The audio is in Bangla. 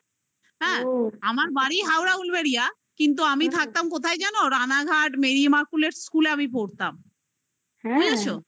আমার বাড়ি হাওড়া উলুবেড়িয়া কিন্তু আমি থাকতাম কোথায় জানো? রানাঘাট merry marchel school আমি পড়তাম বুঝেছো